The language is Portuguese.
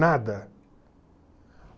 Nada.